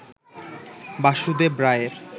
বাসুদেব রায়ের